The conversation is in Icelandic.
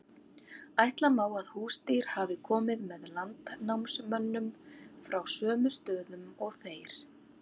ætla má að húsdýr hafi komið með landnámsmönnum frá sömu stöðum og þeir